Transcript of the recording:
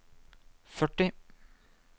førti